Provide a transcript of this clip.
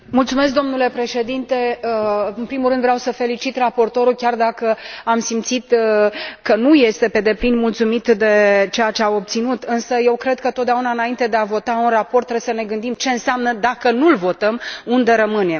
Domnule președinte, în primul rând vreau să felicit raportorul, chiar dacă am simțit că nu este pe deplin mulțumit de ceea ce a obținut, însă eu cred că, întotdeauna, înainte de a vota un raport, trebuie să ne gândim ce înseamnă dacă nu l votăm, unde rămânem.